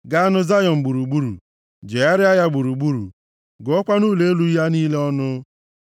Gaanụ Zayọn gburugburu, Jegharịa ya gburugburu, gụọkwanụ ụlọ elu ya niile ọnụ.